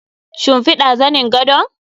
Shimfiɗa zanin gadon?